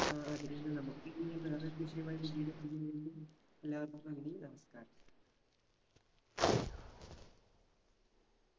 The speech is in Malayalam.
ആ അതിനെന്താ നമുക്ക് ഇനി വേറൊരു വിഷയവുമായി പിന്നീട് എല്ലാവർക്കും നന്ദി നമസ്കാരം